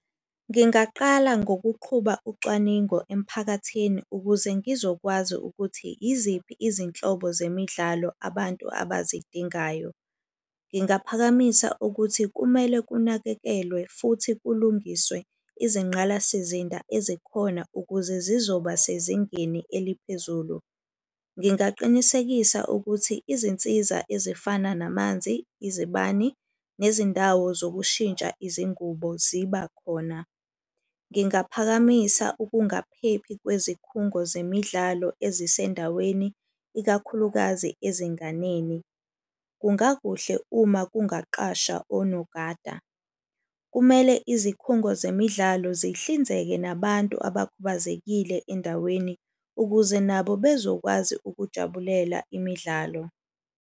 Ngingaqala ngokuqhuba ucwaningo emphakathini ukuze ngizokwazi ukuthi iziphi izinhlobo zemidlalo abantu abazidingayo. Ngingaphakamisa ukuthi kumele kunakekelwe futhi kulungiswe izingqalasizinda ezikhona ukuze zizoba sezingeni eliphezulu. Ngingaqinisekisa ukuthi izinsiza ezifana namanzi, izibani, nezindawo zokushintsha izingubo ziba khona. Ngingaphakamisa ukungaphephi kwezikhungo zemidlalo ezisendaweni ikakhulukazi ezinganeni, kungakuhle uma kungaqasha onongada. Kumele izikhungo zemidlalo zihlinzeka nabantu abakhubazekile endaweni ukuze nabo bezokwazi ukujabulela imidlalo.